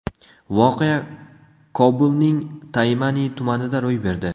Voqea Kobulning Taymani tumanida ro‘y berdi.